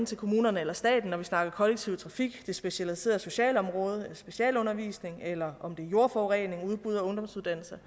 til kommunerne eller staten når vi snakker kollektiv trafik det specialiserede socialområde eller specialundervisning eller om det er jordforurening udbud af ungdomsuddannelser